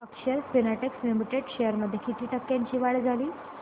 अक्षर Spintex limited shares मध्ये किती टक्क्यांची वाढ झाली